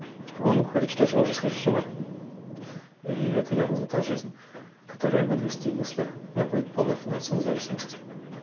он говорит что я уже схожу с ума и это я не то жизнь которую я буду вести если не будет полная финансовой независимости